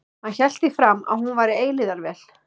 Hann hélt því fram að hún væri eilífðarvél.